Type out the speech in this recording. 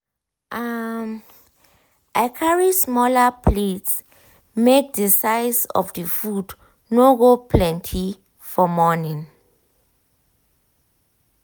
um i carry smaller plates make the um size of the food no go feel plenty for morning.